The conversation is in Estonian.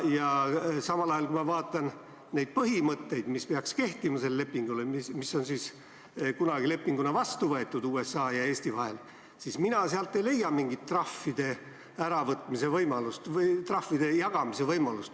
Samal ajal, kui ma vaatan neid põhimõtteid, mis peaksid kehtima selle lepingu kohta, mis on kunagi vastu võetud USA ja Eesti vahel, siis mina ei leia sealt mingit trahvide äravõtmise või trahvide jagamise võimalust.